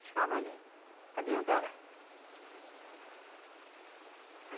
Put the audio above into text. Eu ficava ali, a deus dará.